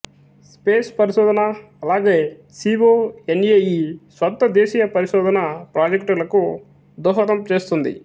space పరిశోధన అలాగే C O N A E స్వంత దేశీయ పరిశోధన ప్రాజెక్టులకు దోహదం చేస్తుంది